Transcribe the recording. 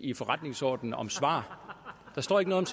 i forretningsordenen om svar der står ikke noget